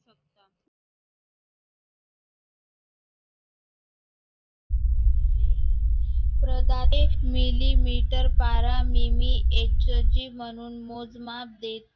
para नेहमी मोजमाप म्हणून